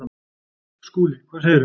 SKÚLI: Hvað segirðu?